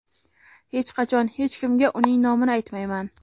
hech qachon hech kimga uning nomini aytmayman.